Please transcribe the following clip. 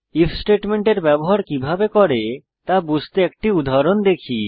if স্টেটমেন্টের ব্যবহার কিভাবে করে তা বুঝতে একটি উদাহরণ দেখি